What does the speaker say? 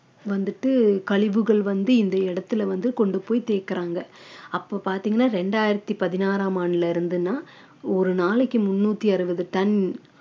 வந்துட்டு கழிவுகள் வந்து இந்த இடத்துல வந்து கொண்டு போய் தேக்குறாங்க அப்போ பார்த்தீங்கன்னா இரண்டாயிரத்தி பதினாறாம் ஆண்டுல இருந்துன்னா ஒரு நாளைக்கு முன்னூத்தி அறுபது டன்